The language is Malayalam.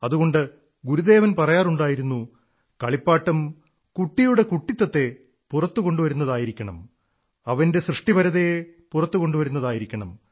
അതുകൊണ്ട് ഗുരുദേവൻ പറയാറുണ്ടായിരുന്നു കളിപ്പാട്ടം കുട്ടിയുടെ കുട്ടിത്തത്തെ പുറത്തുകൊണ്ടുവരുന്നതായിരിക്കണം അവന്റെ സൃഷ്ടിപരതയെ പുറത്തുകൊണ്ടുവരുന്നതായിരിക്കണം